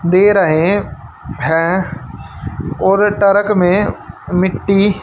दे रहे हैं और टरक में मिट्टी--